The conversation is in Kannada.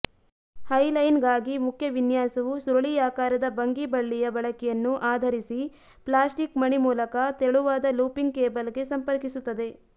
ಹೈಲೈನ್ಗಾಗಿ ಮುಖ್ಯ ವಿನ್ಯಾಸವು ಸುರುಳಿಯಾಕಾರದ ಬಂಗೀ ಬಳ್ಳಿಯ ಬಳಕೆಯನ್ನು ಆಧರಿಸಿ ಪ್ಲಾಸ್ಟಿಕ್ ಮಣಿ ಮೂಲಕ ತೆಳುವಾದ ಲೂಪಿಂಗ್ ಕೇಬಲ್ಗೆ ಸಂಪರ್ಕಿಸುತ್ತದೆ